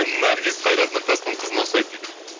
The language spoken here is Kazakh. наргиз қайрат нұртастың қызына ұқсайды дейді